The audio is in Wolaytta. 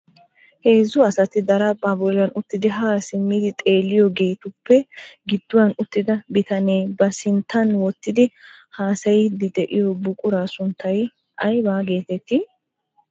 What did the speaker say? Heezzu asati daraphpha bollan uttidi ha simmidi xeeliyaageetuppe gidduwan uttida bitanee ba sinttan wottidi haassayddi de'iyo buqura sunttay aybba getett